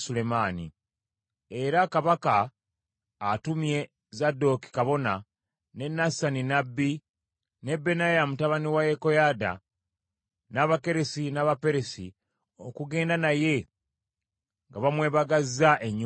era kabaka atumye Zadooki kabona, ne Nasani nnabbi, ne Benaya mutabani wa Yekoyaada, n’Abakeresi n’Abaperesi, okugenda naye nga bamwebagazza ennyumbu ya kabaka.